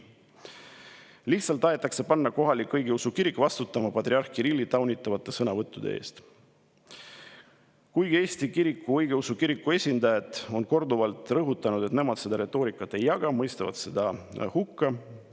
Lihtsalt tahetakse panna kohalik õigeusu kirik vastutama patriarh Kirilli taunitavate sõnavõttude eest, kuigi Eesti Kristliku Õigeusu Kiriku esindajad on korduvalt rõhutanud, et nemad seda retoorikat ei jaga ja mõistavad selle hukka.